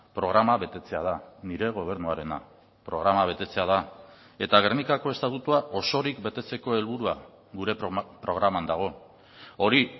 programa betetzea da nire gobernuarena programa betetzea da eta gernikako estatutua osorik betetzeko helburua gure programan dago hori